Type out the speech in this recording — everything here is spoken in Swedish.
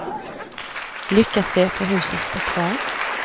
Lyckas de, får huset stå kvar.